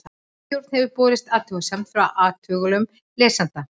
ritstjórn hefur borist athugasemd frá athugulum lesanda